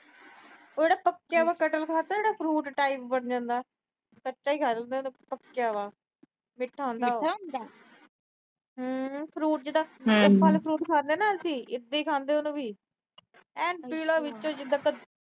ਉਹ ਪੱਕਿਆ ਹੋਇਆ ਕਟਹਲ ਖਾਦਾ, ਜਿਹੜਾ fruit type ਬਣ ਜਾਂਦਾ। ਕੱਚਾ ਈ ਖਾ ਸਕਦੇ ਆ ਜੇ ਪੱਕਿਆ ਵਾ। ਹੂੰ fruit ਜਿਦਾਂ ਫਲ fruit ਖਾਂਦੇ ਆ ਅਸੀਂ, ਉਦਾਂ ਈ ਖਾਂਦੇ ਆ ਉਹਨੂੰ ਵੀ। ਐਨ ਪੀਲਾ ਵਿੱਚੋਂ ਜਿਦਾਂ ਕੱਦੂ